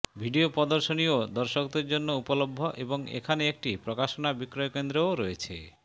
video প্রদর্শনীও দর্শকদের জন্য উপলভ্য এবং এখানে একটি প্রকাশনা বিক্রয়কেন্দ্রও রয়েছে